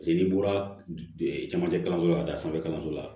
Paseke n'i bɔra camancɛ kalanso la ka taa sanfɛ kalanso la